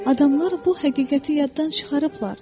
Adamlar bu həqiqəti yaddan çıxarıblar.